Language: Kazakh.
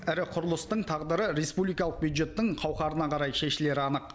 ірі құрылыстың тағдыры республикалық бюджеттің қауқарына қарай шешілері анық